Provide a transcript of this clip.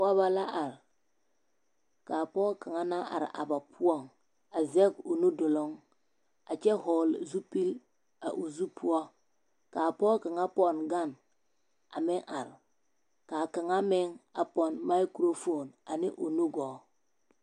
Pɔgebɔ la are k'a pɔge kaŋ naŋ are a ba poɔŋ a zɛge o nu duluŋ a kyɛ hɔɔle zupili a o zu poɔ k'a pɔge kaŋa pɔnne gane a meŋ are k'a kaŋa meŋ a pɔnne makurofoon ane o nugɔɔ.